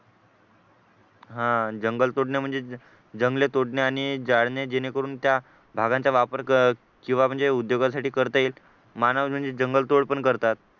हा आह जंगल तोडणे म्हणजे जंगले तोडणे आणि जाळणे जेणेकरून त्या भागांचा वापर किंवा म्हणजे उद्योगासाठी करता येत रानावर म्हणजे जंगलतोड पण करतात